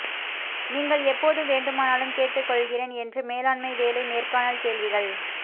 நீங்கள் எப்போது வேண்டுமானாலும் கேட்டுக்கொள்கிறேன் என்று மேலாண்மை வேலை நேர்காணல் கேள்விகள்